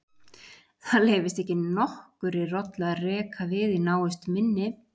Það leyfist ekki nokkurri rollu að reka við í návist minni.